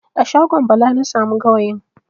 A shagon Bala na samu gawayin.